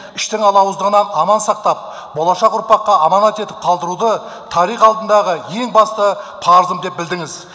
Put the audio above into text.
іштің алауыздығынан аман сақтап болашақ ұрпаққа аманат етіп қалдыруды тарих алдындағы ең басты парызым деп білдіңіз